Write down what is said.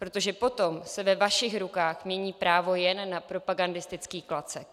Protože potom se ve vašich rukách mění právo jen na propagandistický klacek.